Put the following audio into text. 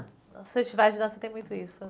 Os festivais de dança têm muito isso